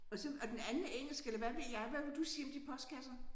Og så og den anden er engelsk eller hvad ved jeg hvad vil du sige om de postkasser